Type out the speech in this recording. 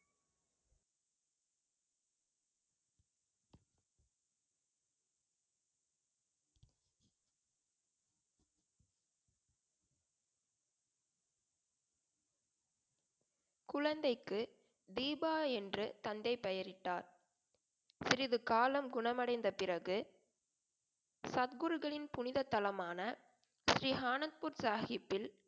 குழந்தைக்கு தீபா என்று தந்தை பெயரிட்டார் சிறிது காலம் குணமடைந்த பிறகு சத்குருகளின் புனித தலமான ஸ்ரீஹானக்பூர் சாஹிப்பில்